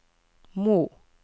Mo